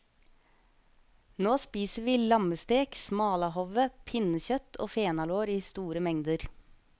Nå spiser vi lammestek, smalahove, pinnekjøtt og fenalår i store mengder.